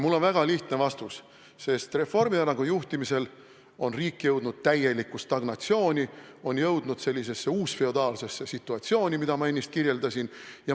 Mul on väga lihtne vastus: sest Reformierakonna juhtimisel jõudis riik täielikku stagnatsiooni, sellisesse uusfeodaalsesse situatsiooni, mida ma ennist kirjeldasin.